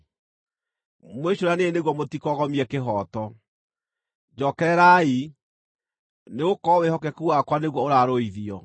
Mwĩcũraniei nĩguo mũtikogomie kĩhooto; njookererai, nĩgũkorwo wĩhokeku wakwa nĩguo ũraarũithio.